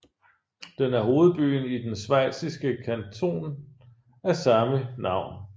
Den er hovedbyen i den schweiziske kanton af samme navn